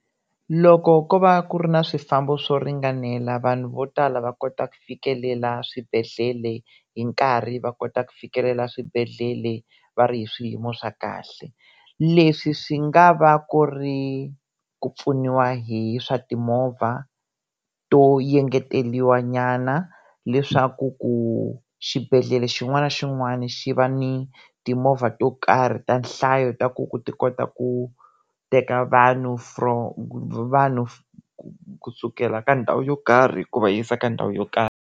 Loko ko va ku ri ni swifambo swo ringanela vanhu vo tala va kota ku fikelela swibedhlele hi nkarhi va kota ku fikelela swibedele va ri hi swiyimo swa kahle, leswi swi nga va ku ri ku pfuniwa hi swa timovha to engeteriwa nyana leswaku ku xibedhlele xin'wana na xin'wana xi va ni timovha to karhi ta nhlayo ta ku ku ti kota ku teka vanhu vanhu kusukela ka ndhawu yo karhi ku va yisa ka ndhawu yo karhi.